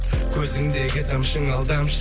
көзіңдегі тамшың алдамшы